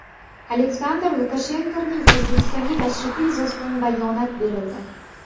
Aleksandr Lukashenkoning O‘zbekistonga tashrifi yuzasidan bayonot berildi.